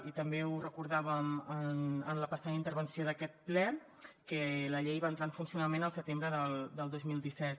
i també ho recordàvem en la passada intervenció d’aquest ple que la llei va entrar en funcionament el setembre del dos mil disset